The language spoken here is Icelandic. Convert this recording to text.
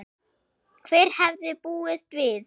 Hver hefði búist við þessu??